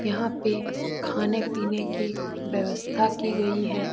यहां पे खाने पीने की व्यवस्था की गई है।